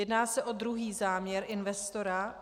Jedná se o druhý záměr investora.